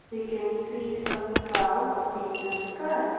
we can see some clouds in the sky.